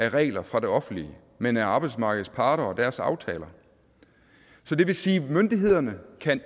af regler fra det offentlige men af arbejdsmarkedets parter og deres aftaler så det vil sige at myndighederne